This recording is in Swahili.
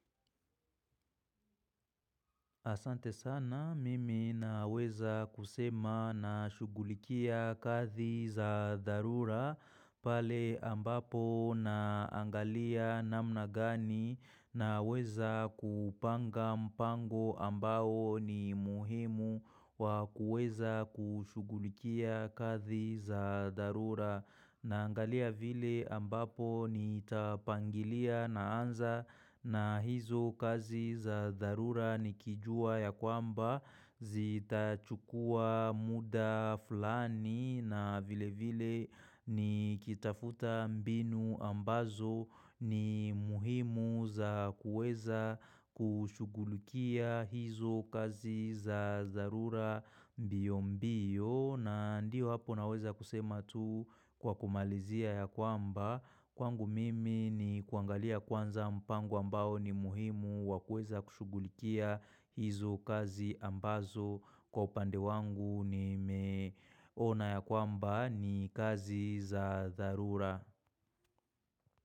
Asante sana mimi naweza kusema na shughulikia kazi za dharura pale ambapo naangalia namna gani naweza kupanga mpango ambao ni muhimu wa kuweza kushugulikia kazi za dharura. Na angalia vile ambapo nitapangilia na anza na hizo kazi za dharura nikijua ya kwamba zita chukua muda fulani na vile vile nikitafuta mbinu ambazo ni muhimu za kuweza kushughulukia hizo kazi za darura mbio mbio. Na ndio hapo naweza kusema tu kwa kumalizia ya kwamba Kwangu mimi ni kuangalia kwanza mpango ambao ni muhimu wa kuweza kushugulikia hizo kazi ambazo kwa upande wangu ni meona ya kwamba ni kazi za dharura.